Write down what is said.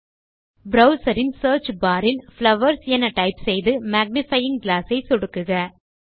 browser இன் search bar இல் flowers என டைப் செய்து மேக்னிஃபையிங் கிளாஸ் ஐ சொடுக்குக